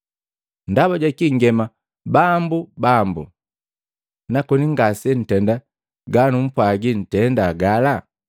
“Ndaba jakii nngema, ‘Bambu, Bambu,’ nakoni ngasenntenda ganumpwagila ntenda gala?